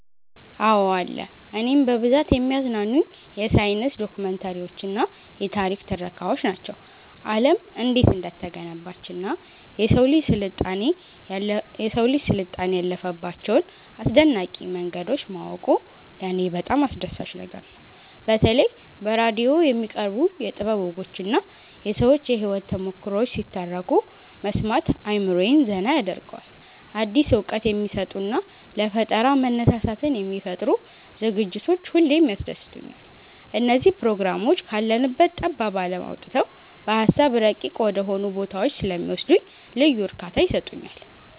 አዎ አለ። እኔን በብዛት የሚያዝናኑኝ የሳይንስ ዶክመንተሪዎችና የታሪክ ትረካዎች ናቸው። ዓለም እንዴት እንደተገነባችና የሰው ልጅ ስልጣኔ ያለፈባቸውን አስደናቂ መንገዶች ማወቁ ለኔ በጣም አስደሳች ነገር ነው። በተለይ በራዲዮ የሚቀርቡ የጥበብ ወጎችና የሰዎች የህይወት ተሞክሮዎች ሲተረኩ መስማት አእምሮዬን ዘና ያደርገዋል። አዲስ እውቀት የሚሰጡና ለፈጠራ መነሳሳትን የሚፈጥሩ ዝግጅቶች ሁሌም ያስደስቱኛል። እነዚህ ፕሮግራሞች ካለንበት ጠባብ ዓለም አውጥተው በሃሳብ ረቂቅ ወደሆኑ ቦታዎች ስለሚወስዱኝ ልዩ እርካታ ይሰጡኛል።